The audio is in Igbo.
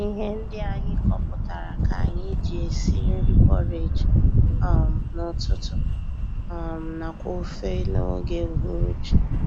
Ihe ndị anyị kọpụtara ka anyị ji esi nri porridge um n'ụtụtụ um nakwa ofe n'oge uhuruchi